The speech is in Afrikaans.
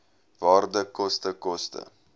waarde koste koste